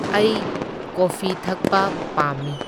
ꯑꯩ ꯀꯣꯐꯤ ꯊꯛꯄ ꯄꯥꯝꯃꯤ꯫